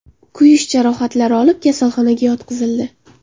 kuyish jarohatlari olib, kasalxonaga yotqizildi.